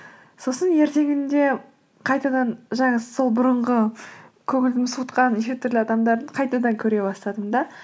сосын ертеңінде қайтадан жаңағы сол бұрынғы көңілін суытқан неше түрлі адамдарды қайтадан көре бастадым да